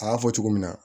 A y'a fɔ cogo min na